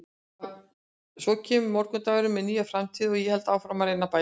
Svo kemur morgundagurinn með nýja framtíð og ég held áfram að reyna að bæta mig.